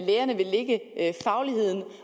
lærerne vil lægge fagligheden